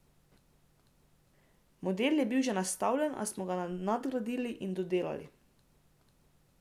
Model je bil že nastavljen, a smo ga nadgradili in dodelali.